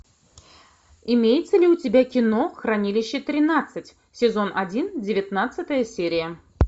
имеется ли у тебя кино хранилище тринадцать сезон один девятнадцатая серия